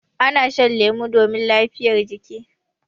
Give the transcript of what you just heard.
Ana shan lemu domin lafiyar jiki.